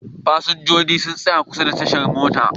Fasinjojin sun tsaya kusa da tashar mota.